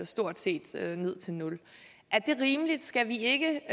stort set ned til nul er det rimeligt skal vi ikke